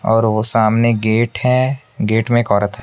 और वो सामने गेट है गेट में एक औरत हैं।